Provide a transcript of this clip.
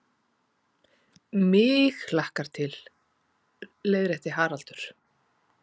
MIG hlakkar til, leiðrétti Haraldur.